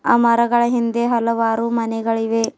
ಆ ಮರಗಳ ಹಿಂದೆ ಹಲವಾರು ಮನೆಗಳಿವೆ.